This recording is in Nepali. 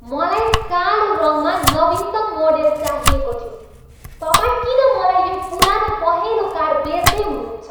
मलाई कालो रङमा नवीनतम मोडेल चाहिएको थियो। तपाईँ किन मलाई यो पुरानो पहेँलो कार बेच्दै हुनुहुन्छ?